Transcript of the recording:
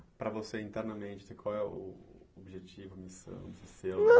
Para você, internamente, qual é o objetivo, a missão? Seu... Não